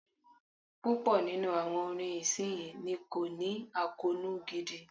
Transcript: Púpọ̀ nínú àwọn orin ìsinyìí ni kò ní àkóónú gidi.